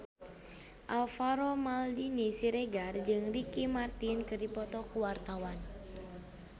Alvaro Maldini Siregar jeung Ricky Martin keur dipoto ku wartawan